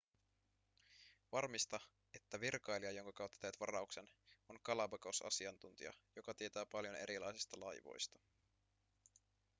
varmista että virkailija jonka kautta teet varauksen on galapagos-asiantuntija joka tietää paljon erilaisista laivoista